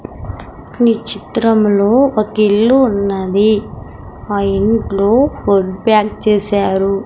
నీ చిత్రంలో ఒక ఇల్లు ఉన్నది ఆ ఇంట్లో ఫుడ్ బ్యాక్ చేశారు .